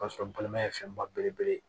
O y'a sɔrɔ balima ye fɛn ba belebele ye